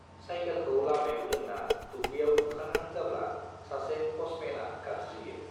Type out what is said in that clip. साइखेलखौ लामायाव दोन्ना दुब्लियाव औंखारहां जाब्ला सासे पोस्टमेन आ गाबज्रियो